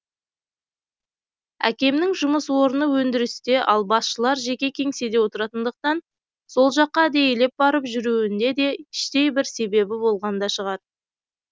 әкемнің жұмыс орыны өндірісте ал басшылар жеке кеңседе отыратындықтан сол жаққа әдейілеп барып жүруінде де іштей бір себебі болған да шығар